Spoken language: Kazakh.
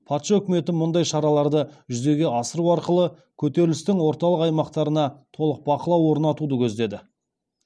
патша үкіметі мұндай шараларды жүзеге асыру арқылы көтерілістің орталық аймақтарына толық бақылау орнатуды көздеді